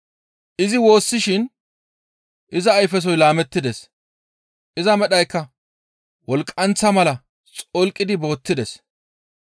Izi woossishin iza ayfesoy laamettides. Iza medhaykka wolqqanththa mala xolqidi boottides.